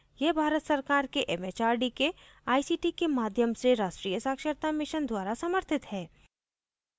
यह भारत सरकार के एमएचआरडी के आईसीटी के माध्यम से राष्ट्रीय साक्षरता mission द्वारा समर्थित है